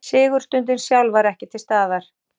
Sigurstundin sjálf var ekki til staðar